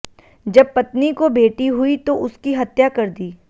जब पत्नी को बेटी हुई तो उसकी हत्या कर दी